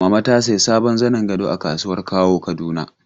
Mama ta sayi sabon zanin gado a kasuwar Kawo Kaduna.